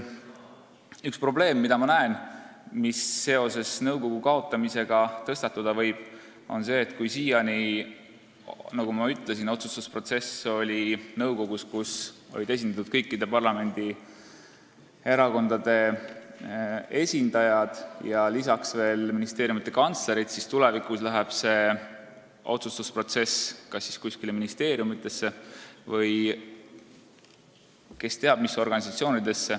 Üks probleem, mis nõukogu kaotamise tõttu minu arvates tekkida võib, on see, et kui siiani on otsustusprotsess olnud nõukogus, kus on esindatud kõikide parlamendierakondade esindajad ja lisaks veel ministeeriumide kantslerid, siis tulevikus hakatakse neid asju otsustama kas kuskil ministeeriumides või kes teab mis organisatsioonides.